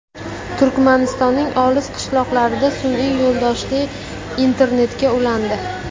Turkmanistonning olis qishloqlari sun’iy yo‘ldoshli internetga ulandi.